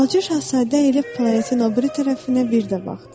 Balaca Şahzadə elə planetin o biri tərəfinə bir də baxdı.